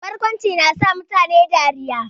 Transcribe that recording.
Barkwanci na sa mutane dariya